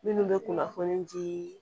Minnu bɛ kunnafoni di